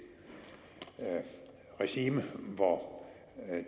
regime hvor